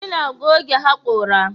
ina goge hakora.